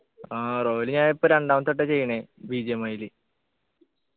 ആഹ് royal ഞാൻ ഇപ്പൊ രണ്ടാമത്തെ ട്ടാ ചെയ്യണേ BGMI ല്